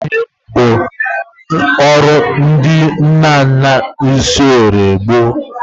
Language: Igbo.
Ịkpụ ihe bụ isi ọrụ ndị nna nna anyị n'oge gboo.